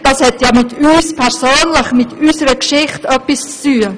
Das hat ja mit uns persönlich, mit unserer Geschichte etwas zu tun!